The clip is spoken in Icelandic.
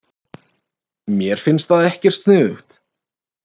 Mér finnst það ekkert sniðugt.